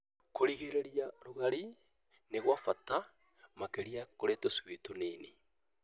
kũgirĩrĩria rũgarĩ nĩ gwa bata, makĩria kũrĩ tũcui tũnini,